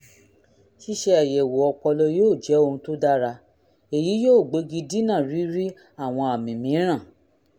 ṣíṣe àyẹ̀wò ọpọlọ yóò jẹ́ ohun tó dára èyí yóò gbégi dínà rírí àwọn àmì mìíràn